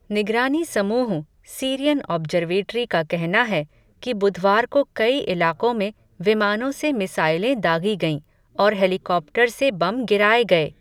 निगरानी समूह, Syrian observatory का कहना है, कि बुधवार को कई इलाक़ों में, विमानों से मिसाइलें दाग़ी गईं, और हेलिकॉप्टर से बम गिराए गए.